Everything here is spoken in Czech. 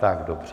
Tak dobře.